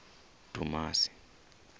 dumasi